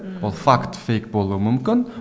ммм ол факт фейк болуы мүмкін